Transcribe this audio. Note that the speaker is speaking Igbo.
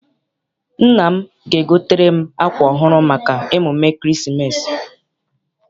Nna m ga- egotere m akwa ọhụụ maka emume ekeresimesi.